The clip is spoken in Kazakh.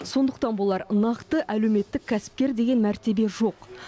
сондықтан болар нақты әлеуметтік кәсіпкер деген мәртебе жоқ